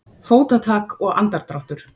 Fótatak og andardráttur.